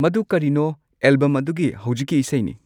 ꯃꯗꯨ ꯀꯔꯤꯅꯣ ꯑꯦꯜꯕꯝ ꯑꯗꯨꯒꯤ ꯍꯧꯖꯤꯛꯀꯤ ꯏꯁꯩꯅꯤ